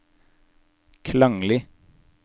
klanglig